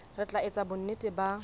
re tla etsa bonnete ba